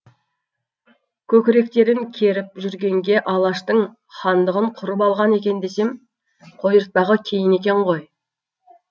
көкіректерін керіп жүргенге алаштың хандығын құрып алған екен десем қойыртпағы кейін екен ғой